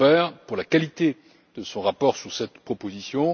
Ferber pour la qualité de son rapport sur cette proposition.